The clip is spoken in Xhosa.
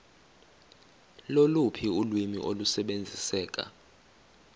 loluphi ulwimi olusebenziseka